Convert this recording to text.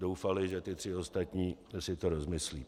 Doufali, že ti tři ostatní si to rozmyslí.